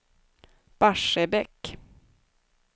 Barsebäck